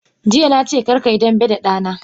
Jiya nace karkayi dambe da dana!